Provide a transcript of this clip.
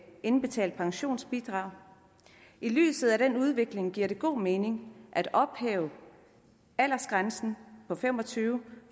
indbetalt pensionsbidrag i lyset af den udvikling giver det god mening at ophæve aldersgrænsen på fem og tyve